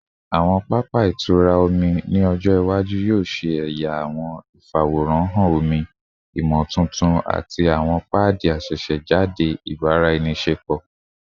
Awọn papa itura omi ni ọjọ iwaju yoo ṣe ẹya awọn ifaworanhan omi imotuntun ati awọn paadi asesejade ibaraenisepo